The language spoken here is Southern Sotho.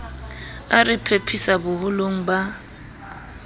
a re phephisa boholong ba